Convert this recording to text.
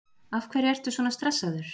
Af hverju ertu svona stressaður?